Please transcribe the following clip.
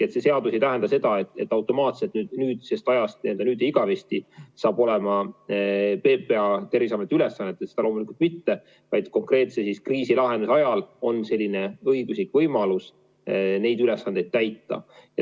See seadus ei tähenda seda, et automaatselt nüüd ja igavesti on PPA Terviseameti ülesannetes, seda loomulikult mitte, vaid konkreetse kriisi lahendamise ajal on selline õiguslik võimalus neid ülesandeid täita.